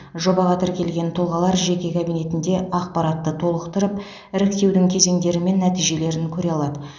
жобаға тіркелген тұлғалар жеке кабинетінде ақпаратты толықтырып іріктеудің кезеңдері мен нәтижелерін көре алады